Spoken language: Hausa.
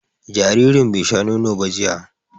Jaririn bai sha nono ba jiya